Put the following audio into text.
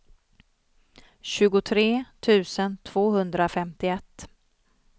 tjugotre tusen tvåhundrafemtioett